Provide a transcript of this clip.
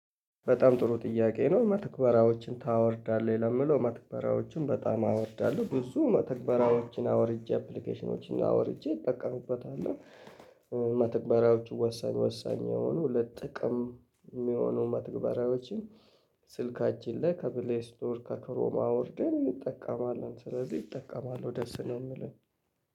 በጣም ጥሩ ጥያቄ ነው መተግበራዎችን ታወርዳለህ ለምለው መተግበራዎችን በጣም አወርዳለሁ ብዙ መተግበራዎችን አውርጄ አፕሊኬሽኖችን አውርጄ እጠቀምበታለሁ። መተግበሪያዎቹ ወሳኝ ወሳኝ የሆኑ ለጥቅም የሚሆኑ መተግበራዎችን። ስልካችን ላይ ከፕሌስቶር ከክሮም አውርደን እንጠቀማለን ስለዚህ እጠቀማለሁ ደስ ነው የምልህ።